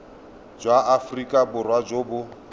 jwa aforika borwa jo bo